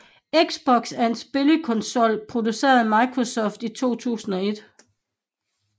Xbox er en spillekonsol produceret af Microsoft i 2001